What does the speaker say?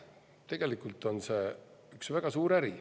Tegelikult on see üks väga suur äri.